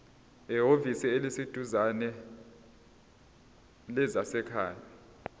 ehhovisi eliseduzane lezasekhaya